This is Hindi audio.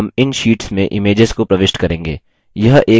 हम इन शीट्स में images को प्रविष्ट करेंगे